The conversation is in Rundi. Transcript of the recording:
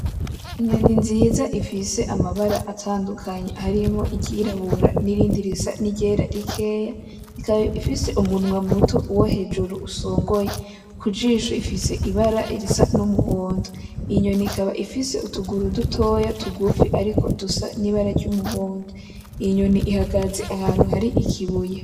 Inyoni nziza ifise amabara atandukanye harimwo iryorabura n'irindi risa nk'iryera rikeya, ikaba ifise umunwa muto uwo hejuru usongoye. Kujisho rifise ibara risa n'umuhondo. Inyoni ikaba ifise utuguru dutoyi tugufi ariko dusa n'ibara ry'umuhondo. Inyoni ihagaze ahantu hari ikibuye.